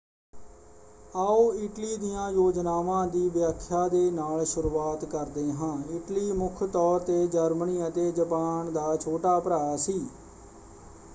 ਆਓ ਇਟਲੀ ਦੀਆਂ ਯੋਜਨਾਵਾਂ ਦੀ ਵਿਆਖਿਆ ਦੇ ਨਾਲ ਸ਼ੁਰੂਆਤ ਕਰਦੇ ਹਾਂ। ਇਟਲੀ ਮੁੱਖ ਤੌਰ 'ਤੇ ਜਰਮਨੀ ਅਤੇ ਜਪਾਨ ਦਾ ਛੋਟਾ ਭਰਾ ਸੀ।